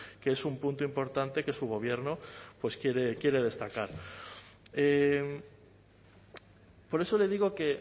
que es un punto importante que su gobierno pues quiere destacar por eso le digo que